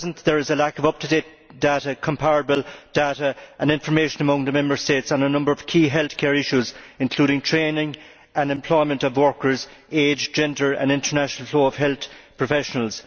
At present, there is a lack of up to date, comparable data and information among the Member States on a number of key healthcare issues including training and employment of workers, age, gender and international flow of health professionals.